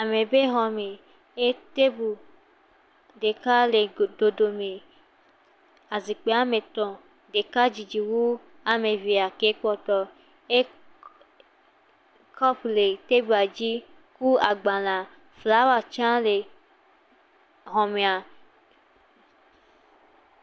Ame ƒe xɔme ye tebu ɖeka le dodome. Zikpui woame etɔ̃. Ɖeka didi wu ame evea ke kpɔtɔ e kɔpu le tebua dzi kple agbalẽ. Flawa tsɛ lɛ xɔmea.